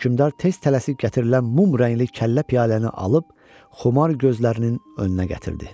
Hökmdar tez tələsib gətirilən mum rəngli kəllə piyaləni alıb xumar gözlərinin önünə gətirdi.